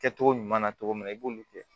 Kɛcogo ɲuman na cogo min na i b'olu kɛ